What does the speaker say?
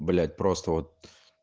блять просто вот